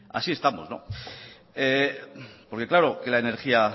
así estamos porque claro que la energía